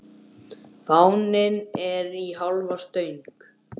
Fáninn er í hálfa stöng.